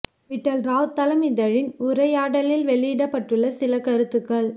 விட்டல் ராவ் தளம் இதழின் உரையாடலில் வெளியிட்டுள்ள சில கருத்துகள்